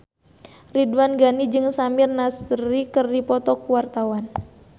Ridwan Ghani jeung Samir Nasri keur dipoto ku wartawan